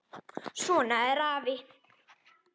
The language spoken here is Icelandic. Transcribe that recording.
Svona er afi.